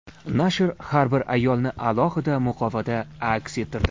Nashr har bir ayolni alohida muqovada aks ettirdi.